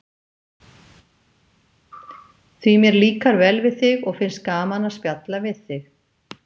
Því mér líkar vel við þig og finnst gaman að spjalla við þig.